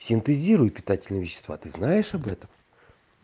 синтезируют питательные вещества ты знаешь об этом